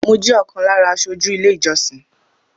Mọ jẹ́ ọ̀kan lára aṣojú ilé ìjọsìn